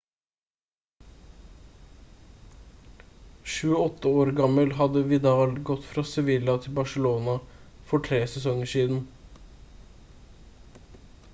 28 år gammel hadde vidal gått fra sevilla til barçelona for tre sesonger siden